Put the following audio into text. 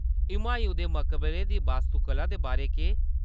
हुमायूँ दे मकबरे दी वास्तुकला दे बारै केह्‌‌?